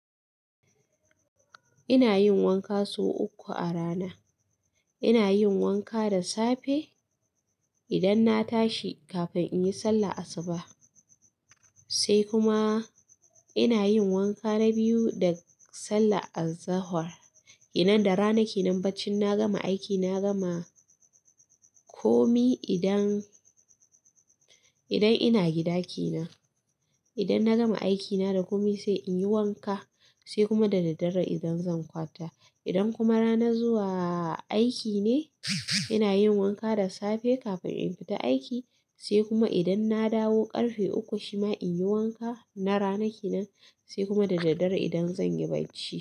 Ina yin wanka sau uku a rana. Ina yin wanka da safe idan na tashi kafin in yi sallar asuba. Sai kuma ina yin wanka na biyu da sallar az-zuhur. Idan da rana kenan baccin na gama aiki, na gama komi idan, idan ina gida kenan. Idan na gama aiki na da komi sai in yi wanka, sai kuma da daddare idan zan kwanta. Idan kuma ranar zuwa aiki ne, ina yin wanka da safe kafin in fita aiki, sai kuma idan na dawo ƙarfe uku shima in yi wanka na rana kenan, sai kuma da daddare idan zan yi bacci.